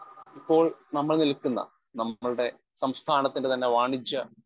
speaker 1 ഇപ്പോൾ നമ്മൾ നിൽക്കുന്ന നമ്മുടെ സംസ്ഥാനത്തിൻ്റെ തന്നെ വാണിജ്യ